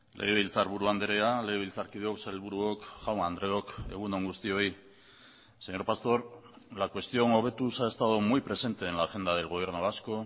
legebiltzarburu andrea legebiltzarkideok sailburuok jaun andreok egun on guztioi señor pastor la cuestión hobetuz ha estado muy presente en la agenda del gobierno vasco